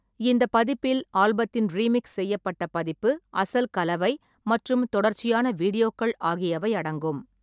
இந்த பதிப்பில் ஆல்பத்தின் ரீமிக்ஸ் செய்யப்பட்ட பதிப்பு, அசல் கலவை மற்றும் தொடர்ச்சியான வீடியோக்கள் ஆகியவை அடங்கும்.